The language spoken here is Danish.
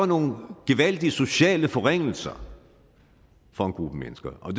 nogle gevaldige sociale forringelser for en gruppe mennesker og